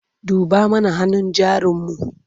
duba mana hannun jarin mu!